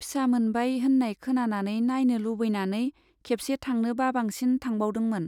फिसा मोनबाय होन्नाय खोनानानै नाइनो लुबैनानै खेबसे थांनो बाबांसिन थांबावदोंमोन।